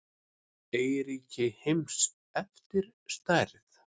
Eyríki heims eftir stærð